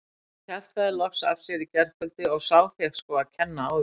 Hann kjaftaði loks af sér í gærkvöldi og sá fékk sko að kenna á því.